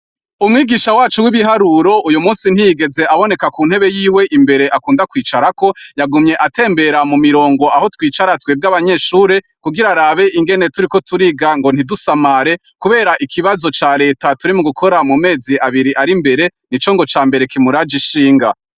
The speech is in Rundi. Umwigisha wacu w'ibiharuro uyu munsi ntiyigeze aboneka ku ntebe yiwe imbere akunda kwicara ko yagumye atembera mu mirongo aho twicara twebwe abanyeshuri kugira arabe ingene turiko turiga ngo ntidusamare kubera ikibazo ca leta turi mu gukora mu mezi abiri ari mbere ni co ngo ca mbere kimuraje ishinga.